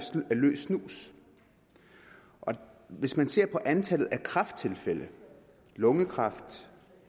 løs snus og hvis man ser på antallet af kræfttilfælde lungekræft